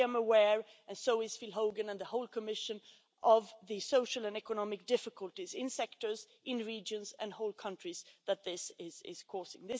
I am aware and so is Phil Hogan and the whole Commission of the social and economic difficulties in sectors, in regions, and whole countries that this is causing.